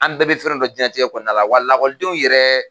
An bɛɛ bɛ fɛn dɔ dɔn diɲɛlatigɛ kɔnɔna la wa lakɔlidenw yɛrɛ